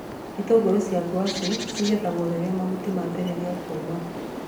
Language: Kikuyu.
Itũngũrũ cia ngwacĩ cigethagwo rĩrĩa mahuti mambĩrĩria kũũma